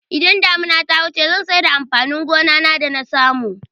Idan damuna ta wuce zan saida amfanin gona da nasamu